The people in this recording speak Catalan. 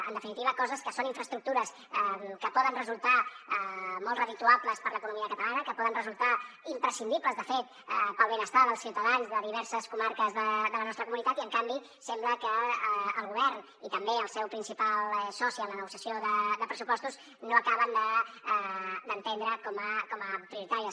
en definitiva coses que són infraestructures que poden resultar molt redituables per a l’economia catalana que poden resultar imprescindibles de fet per al benestar dels ciutadans de diverses comarques de la nostra comunitat i en canvi sembla que el govern i també el seu principal soci en la negociació de pressupostos no acaben d’entendre com a prioritàries